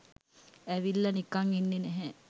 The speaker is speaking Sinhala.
ඇවිල්ල නිකම් ඉන්නේ නැහැ